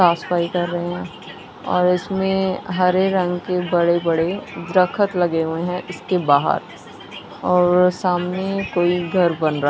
साफ सफाई कर रहें हैं और इसमें हरे रंग के बड़े बड़े द्रखत लगे हुए हैं इसके बाहर और सामने कोई घर बन रहा--